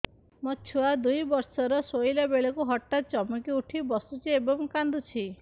ମୋ ଛୁଆ ଦୁଇ ବର୍ଷର ଶୋଇଲା ବେଳେ ହଠାତ୍ ଚମକି ଉଠି ବସୁଛି ଏବଂ କାଂଦୁଛି